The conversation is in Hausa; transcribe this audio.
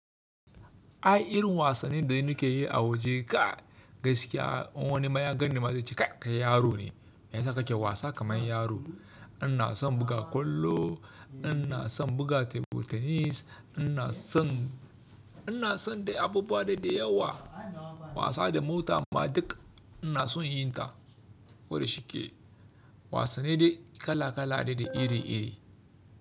Ai irin wasanni da ni ke yi a waje kai gaskiya, in wani ma ya gan ni ma zai ce kai yaro ne, me yasa kake wasa kamar yaro? Ina son buga kwallo, ina son buga tebur tenis, ina son, ina son dai abubuwa dai dai da yawa. Wasa da mota ma duk ina son yin ta. Wada shi ke wasanni dai kala kala dai da iri iri.